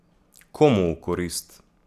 Komu v korist?